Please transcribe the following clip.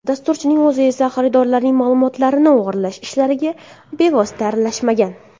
Dasturchining o‘zi esa xaridorlarning ma’lumotlarini o‘g‘irlash ishlariga bevosita aralashmagan.